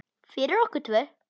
Fyrir okkur tvö.